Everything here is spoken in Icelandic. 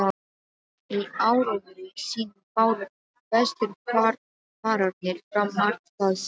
Í áróðri sínum báru vesturfararnir fram margt það sem